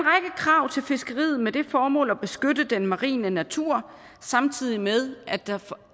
krav til fiskeriet med det formål at beskytte den marine natur samtidig med at der